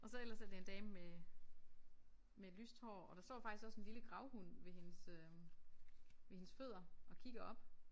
Og så ellers er det en dame med med lyst hår og der står faktisk også en lille gravhund ved hendes øh ved hendes fødder og kigger op